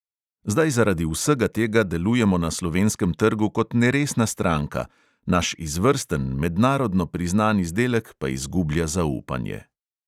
Zdaj zaradi vsega tega delujemo na slovenskem trgu kot neresna stranka, naš izvrsten, mednarodno priznan izdelek pa izgublja zaupanje.